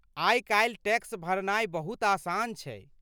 आइ काल्हि टैक्स भरनाइ बहुत आसान छै।